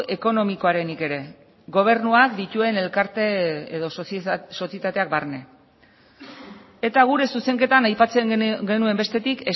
ekonomikoarenik ere gobernuak dituen elkarte edo sozietateak barne eta gure zuzenketan aipatzen genuen bestetik